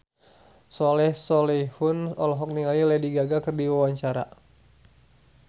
Soleh Solihun olohok ningali Lady Gaga keur diwawancara